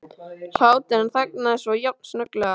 hlátur en þagnaði svo jafn snögglega.